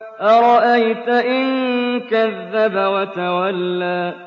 أَرَأَيْتَ إِن كَذَّبَ وَتَوَلَّىٰ